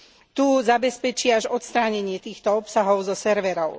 Tú zabezpečí až odstránenie týchto obsahov zo serverov.